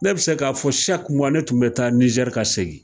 Ne be se k'a fɔ saki muwa ne tun be taa nizɛri ka segin